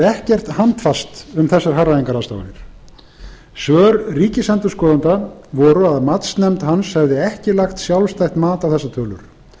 ekkert handfast um þessar hagræðingarráðstafanir svör ríkisendurskoðanda voru að matsnefnd hans hefði ekki lagt sjálfstætt mat á þessar tölur